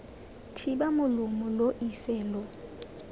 thiba molomo lo ise lo